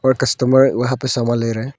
और कस्टमर वहां पे सामान ले रहा हैं।